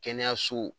Kɛnɛyaso